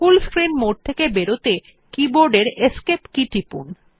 ফুল screen mode থেকে বেরোতে keyboard এর এসকেপ কী টিপুন